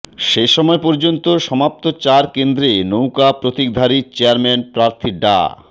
সে সময় পর্যন্ত সমাপ্ত চার কেন্দ্রে নৌকা প্রতীকধারী চেয়ারম্যান প্রার্থী ডা